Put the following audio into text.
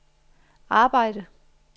arbejde